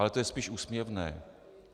Ale to je spíš úsměvné.